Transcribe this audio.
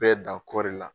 Bɛɛ dan kɔɔri la